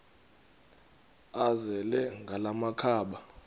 azele ngala makhaba